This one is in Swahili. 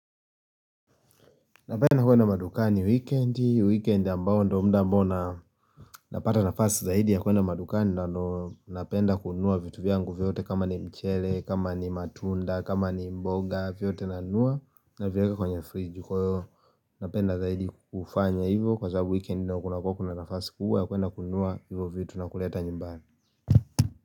Napenda kuenda madukani wikendi, wikendi ambao ndio muda ambao na napata nafasi zaidi ya kuenda madukani na ndo napenda kununua vitu vyangu vyote kama ni mchele, kama ni matunda, kama ni mboga vyote nanunua navieka kwenye fridge kwa hivyo napenda zaidi kufanya hivyo kwa sababu wikendi ndio kuna kuwa kuna nafasi kubwa ya kuenda kununua hivyo vitu na kuleta nyumbani.